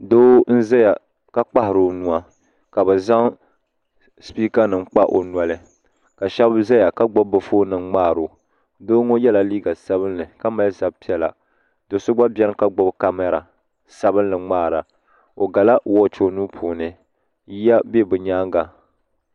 Doo n zayaka kpahiri o nua ka bɛ zaŋ sipiika nima kpa o noli ka sheba zaya ka gbibi bɛ fooni nima ŋmahiri o doo ŋɔ yela liiga sabinli ka mali zab'piɛlla do'so gba biɛni ka gbibi kamara sabinli ŋmaara o gala woochi o nuu puuni yiya be bɛ nyaanga.